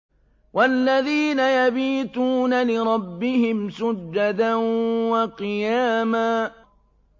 وَالَّذِينَ يَبِيتُونَ لِرَبِّهِمْ سُجَّدًا وَقِيَامًا